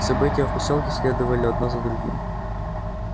события в посёлке следовали одно за другим